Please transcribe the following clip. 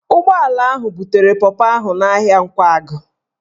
Ụgbọala ahụ butere pọpọ ahụ n'ahịa Nkwagụ